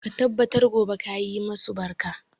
Ka tabbata gobe ka yi masu barka.